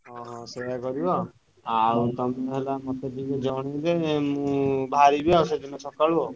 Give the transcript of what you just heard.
ହଁ ହଁ ସେଇଆ କରିବ ଆଉ ତମେ ହେଲା ମତେ ଟିକେ ଜଣେଇଲେ ମୁଁ ବାହାରିବି ସେଦିନ ସକାଳୁ ଆଉ।